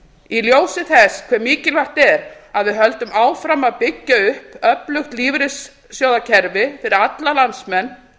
í ljósi þess hve mikilvægt er að við höldum áfram að byggja upp öflugt lífeyrissjóðakerfi fyrir alla landsmenn